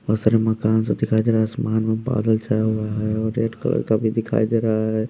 बहुत सारे मकान सब दिखाई दे रहा है आसमान में बादल छया हुआ है और रेड कलर का भी दिखाई दे रहा है।